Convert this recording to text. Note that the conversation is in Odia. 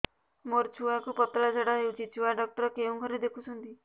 ମୋର ଛୁଆକୁ ପତଳା ଝାଡ଼ା ହେଉଛି ଛୁଆ ଡକ୍ଟର କେଉଁ ଘରେ ଦେଖୁଛନ୍ତି